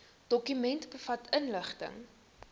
dokument bevat inligting